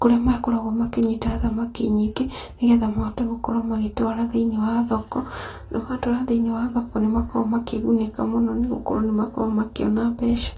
kũrĩa makoragwo makĩnyita thamaki nyingĩ, nĩgetha mahote gũkorwo magĩtwara thĩinĩ wa thoko, na matwara thĩinĩ wa thoko nĩ makoragwo makĩgunĩka mũno nĩ gũkorwo nĩmakoragwo makĩona mbeca.